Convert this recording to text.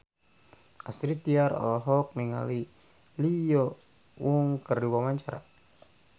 Astrid Tiar olohok ningali Lee Yo Won keur diwawancara